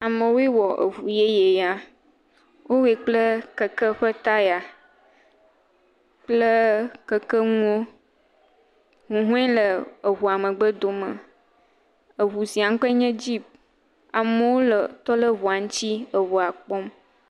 Amewoe wɔ eŋu yeye ya, wowɔe kple keke ƒe taya kple kekenuwo, huhɔe le eŋu megbe dome, eŋu sia ƒe ŋkɔe nye dzip, amewo le tɔ ɖe ŋua ŋuti, eŋua kpɔm.